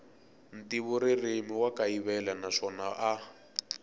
ntivoririmi wa kayivela naswona a